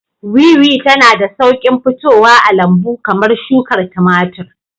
Wiwi tana da sauƙin fitowa a lambu kamar shukar tumatir.